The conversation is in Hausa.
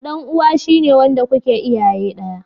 Dan uwa shi ne wanda kuke iyaye daya.